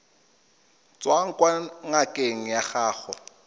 tswang kwa ngakeng ya gago